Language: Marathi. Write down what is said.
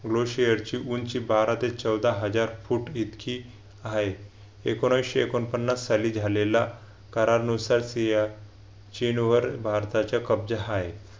low share ची उंची बारा ते चौदा हजार फूट इतकी आहे. एकोनाविशे एकोणपन्नास साली झालेला करारानुसार सिया चीन वर भारताचा कब्जा आहे